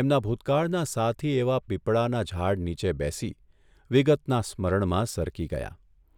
એમના ભૂતકાળના સાથી એવા પીપળાના ઝાડ નીચે બેસી વિગતના સ્મરણમાં સરકી ગયા.